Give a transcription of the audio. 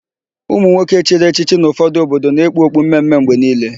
Ụmụnwoke chiri echichi n'ụfọdụ obodo na-ekpu okpu mme mme mgbe niile.